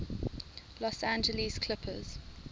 los angeles clippers